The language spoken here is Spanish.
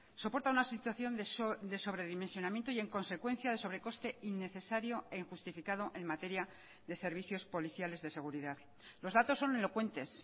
soporta una situación de sobredimensionamiento y en consecuencia de sobrecoste innecesario e injustificado en materia de servicios policiales de seguridad los datos son elocuentes